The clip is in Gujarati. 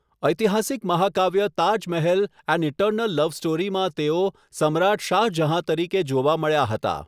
ઐતિહાસિક મહાકાવ્ય 'Taj Mahal an eternal love સ્ટોરી'માં તેઓ સમ્રાટ શાહ જહાં તરીકે જોવા મળ્યા હતા.